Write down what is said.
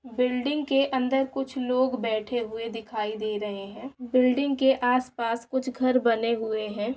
Building के अंदर कुछ लोग बैठे हुए दिखाई दे रहे है बिल्डिंग के आस पास कुछ घर बने हुए है ।